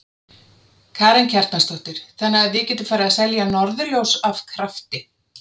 Karen Kjartansdóttir: Þannig að við getum farið að selja norðurljós af krafti?